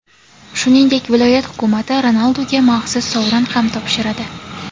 Shuningdek, viloyat hukumati Ronalduga maxsus sovrin ham topshiradi.